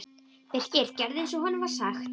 Birkir gerði eins og honum var sagt.